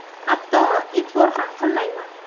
Hatto e’tibor ham qilmayman.